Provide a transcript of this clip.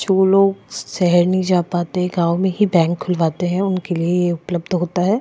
जो लोग सेहर नहीं जा पाते हैं गाँव में ही बैंक खुलवाते हैं उनके लिए ये उपलब्ध होता हैं।